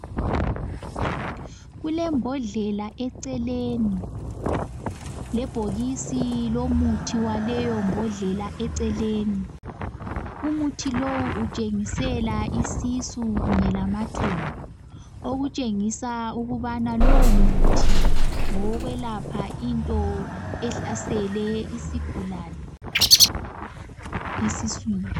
Kulembodlela eceleni lebhokisi lomuthi waleyo mbodlela eceleni umuthi lowu utshengisela isisu kunye lamathumbu okutshengisa ukubana lowo muthi ngowokwelapha into ehlasele isigulane esiswini.